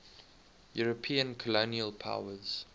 european colonial powers